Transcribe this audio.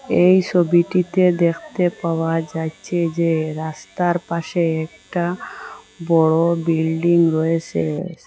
এই সবিটিতে দেখতে পাওয়া যাচ্ছে যে রাস্তার পাশে একটা বড় বিল্ডিং রয়েসে।